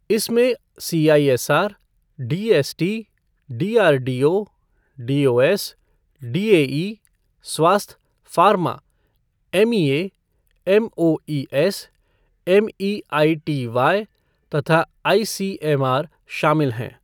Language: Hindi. इसमें CISR, DST, DRDO, DOS, DAE, स्वास्थ, फार्मा, एमईऐ, एमओईएस, एमईआईटीवाई तथा आईसीएमआर शामिल हैं।